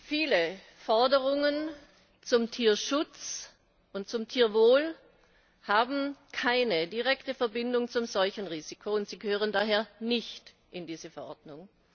Viele Forderungen zum Tierschutz und zum Tierwohl haben keine direkte Verbindung zum Seuchenrisiko und gehören daher nicht in diese Verordnung.